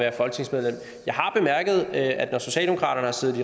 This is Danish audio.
det at når socialdemokratiet har